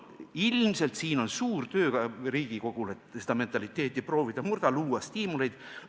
Ilmselt siin on suur töö teha Riigikogul, et seda mentaliteeti murda ja luua stiimuleid.